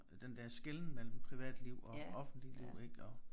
Den der skelnen mellem privatliv og offentligt liv ik og